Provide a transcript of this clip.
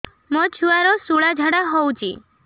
ମୋ ଛୁଆର ସୁଳା ଝାଡ଼ା ହଉଚି